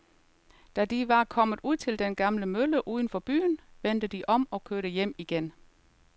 Da de var kommet ud til den gamle mølle uden for byen, vendte de om og kørte hjem igen.